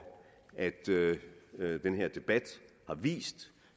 at at den her debat har vist